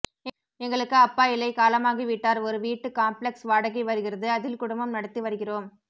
எங்களுக்கு அப்பா இல்லை காலமாகிவிட்டார் ஒரு வீட்டு காம்ப்ளெக்ஸ் வாடகை வருகிறது அதில் குடும்பம் நடத்தி வருகிறோம்